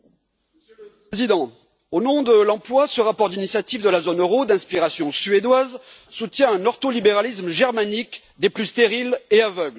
Monsieur le Président, au nom de l'emploi, ce rapport d'initiative de la zone euro, d'inspiration suédoise, soutient un ordolibéralisme germanique des plus stériles et aveugles.